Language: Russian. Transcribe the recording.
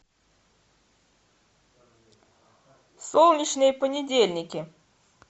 солнечные понедельники